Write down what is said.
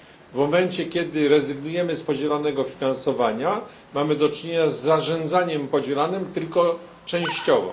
W momencie kiedy rezygnujemy z podzielanego finansowania, mamy do czynienia z zarządzaniem podzielanym tylko częściowo.